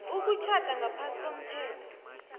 ukutjhada ngaphasi komthetho